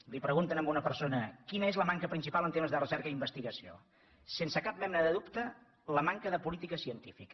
li pregunten a una persona quina és la manca principal en tema de recerca i investigació sense cap mena de dubte la manca de política científica